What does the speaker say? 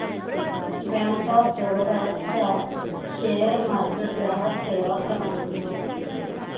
bank of Baroda चा share market ग्राहक सेवा क्रमांक